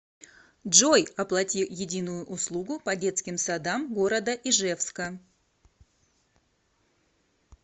джой оплати единую услугу по детским садам города ижевска